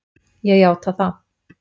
Ég játa það.